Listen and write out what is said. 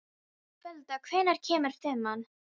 Folda, hvenær kemur fimman?